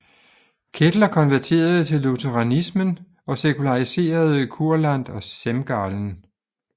Kettler konverterede til lutheranismen og sekulariserede Kurland og Semgallen